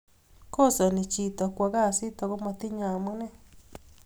kosani chitok kwo kasit akomatinyei amunee